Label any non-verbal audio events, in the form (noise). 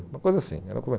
Uma coisa assim. (unintelligible)